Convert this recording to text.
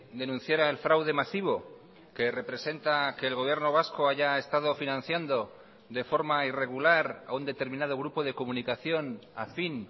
denunciara el fraude masivo que representa que el gobierno vasco haya estado financiando de forma irregular a un determinado grupo de comunicación afín